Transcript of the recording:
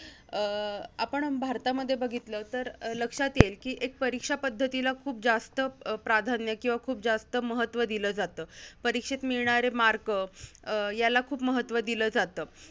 अं आपण भारतामध्ये बघितलं तर अं लक्षात येईल कि एक परीक्षा पद्धतीला खूप जास्त अं प्राधान्य किंवा खूप जास्त महत्त्व दिलं जातं. परीक्षेत मिळणारे mark अं याला खूप महत्त्व दिलं जातं.